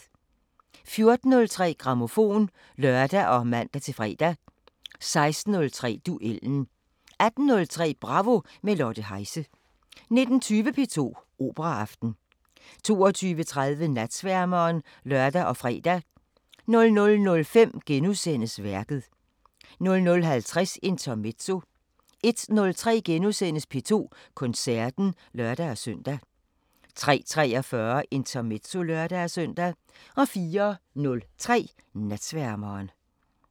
14:03: Grammofon (lør og man-fre) 16:03: Duellen 18:03: Bravo – med Lotte Heise 19:20: P2 Operaaften 22:30: Natsværmeren (lør og fre) 00:05: Værket * 00:50: Intermezzo 01:03: P2 Koncerten *(lør-søn) 03:43: Intermezzo (lør-søn) 04:03: Natsværmeren